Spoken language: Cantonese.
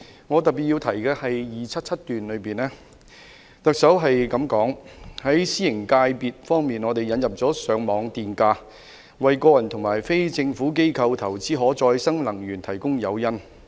特首在施政報告第277段說："在私營界別方面，我們引入了上網電價，為個人和非政府機構投資可再生能源提供誘因。